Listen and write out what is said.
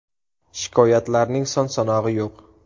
Shikoyatlarning son-sanog‘i yo‘q.